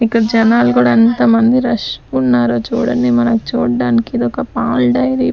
ఇక్కడ జనాలు కూడా అంతమంది రష్గా ఉన్నారో చూడండి మనం చూడ్డానికిదొక పాల్ డైరీ .